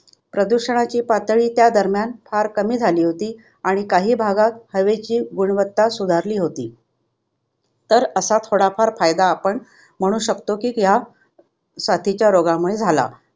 प्रदूषणाची पातळी त्या दरम्यान फार कमी झाली होती आणि काही भागात हवेची गुणवत्ता सुधारली होती. तर असा थोडाफार फायदा आपण म्हणू शकतो की ह्या साथीच्या रोगामूळे झाला.